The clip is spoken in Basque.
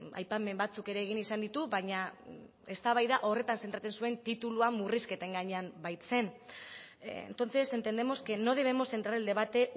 aipamen batzuk ere egin izan ditu baina eztabaida horretan zentratzen zuen titulua murrizketen gainean baitzen entonces entendemos que no debemos centrar el debate